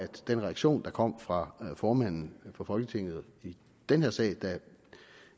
den reaktion der kom fra formanden for folketinget i den her sag da